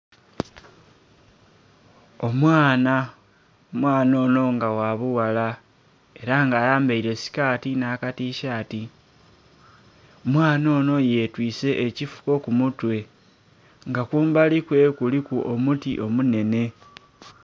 Omwana, omwana onho nga gha bughala ela nga ayambaile sikati nha katishati omwanha onho yetwise ekifuko kumutwe nga kumbali kuwe kuliku omufuko omunhenhe.